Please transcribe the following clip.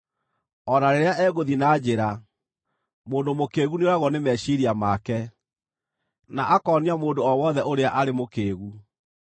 O na rĩrĩa egũthiĩ na njĩra, mũndũ mũkĩĩgu nĩoragwo nĩ meciiria make, na akoonia mũndũ o wothe ũrĩa arĩ mũkĩĩgu.